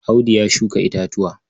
Audu ya shuka itatuwa.